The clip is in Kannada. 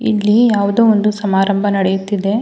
ಇಲ್ಲಿ ಯಾವುದೊ ಒಂದು ಸಮಾರಂಭ ನಡೆಯುತ್ತಿದೆ.